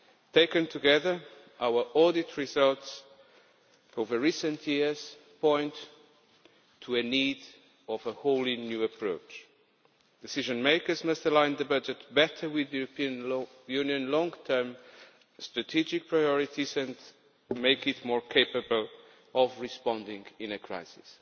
Taken together, our audit results over recent years point to a need for a wholly new approach decision makers must align the budget better with the European Union's long term strategic priorities and make it more capable of responding in a crisis